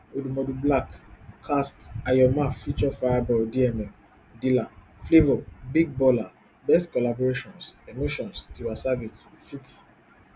ojapiano mattmax egwu director pink showa tg omori